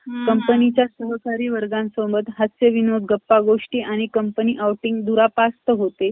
company च्या सहकारी वर्गासोबत , हास्यविनोद , गप्पागोष्टी आणि सहल दुरापास्त होते ,